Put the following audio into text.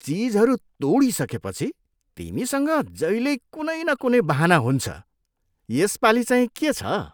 चिजहरू तोडिसकेपछि तिमीसँग जहिल्यै कुनै न कुनै बहाना हुन्छ। यसपालि चाहिँ के छ?